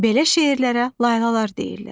Belə şeirlərə laylalar deyirlər.